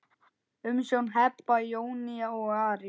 Umsjón Heba, Jónína og Ari.